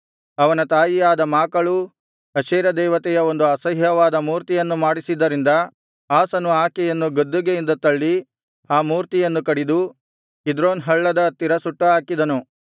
ಅವನ ತಾಯಿಯಾದ ಮಾಕಳೂ ಅಶೇರ ದೇವತೆಯ ಒಂದು ಅಸಹ್ಯವಾದ ಮೂರ್ತಿಯನ್ನು ಮಾಡಿಸಿದ್ದರಿಂದ ಆಸನು ಆಕೆಯನ್ನು ಗದ್ದುಗೆಯಿಂದ ತಳ್ಳಿ ಆ ಮೂರ್ತಿಯನ್ನು ಕಡಿದು ಕಿದ್ರೋನ್ ಹಳ್ಳದ ಹತ್ತಿರ ಸುಟ್ಟು ಹಾಕಿದನು